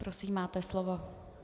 Prosím, máte slovo.